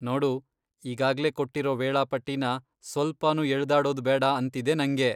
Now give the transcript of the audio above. ನೋಡು, ಈಗಾಗ್ಲೇ ಕೊಟ್ಟಿರೋ ವೇಳಾಪಟ್ಟಿನ ಸ್ವಲ್ಪನೂ ಎಳ್ದಾಡೋದ್ ಬೇಡ ಅಂತಿದೆ ನಂಗೆ.